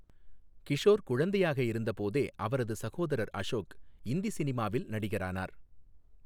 கிஷோர் குழந்தையாக இருந்தபோதே, அவரது சகோதரர் அசோக் இந்தி சினிமாவில் நடிகரானார்.